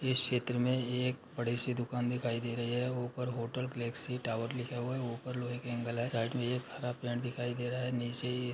इस चित्र में एक बड़ी-सी दुकान दिखाइ दे रही हैऊपर होटल गैलेक्सी टावर लिखा हुआ हैऊपर लोहे के एन्ग्ल हैंसाइड में एक हरा पेड़ दिखाई दे रहा है। नीचे ये --